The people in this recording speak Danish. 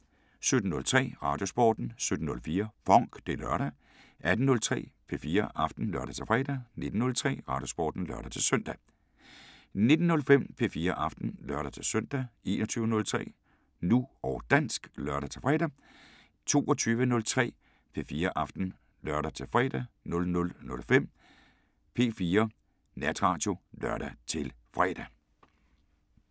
17:03: Radiosporten 17:04: FONK! Det er lørdag 18:03: P4 Aften (lør-fre) 19:03: Radiosporten (lør-søn) 19:05: P4 Aften (lør-søn) 21:03: Nu og dansk (lør-fre) 22:03: P4 Aften (lør-fre) 00:05: P4 Natradio (lør-fre)